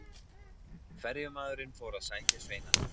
Ferjumaðurinn fór að sækja sveinana.